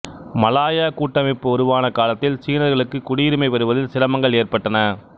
Malaya கூட்டமைப்பு உருவான காலத்தில் சீனர்களுக்கு குடியுரிமை பெறுவதில் சிரமங்கள் ஏற்பட்டன